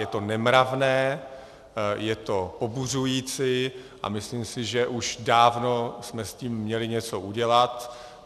Je to nemravné, je to pobuřující a myslím si, že už dávno jsme s tím měli něco udělat.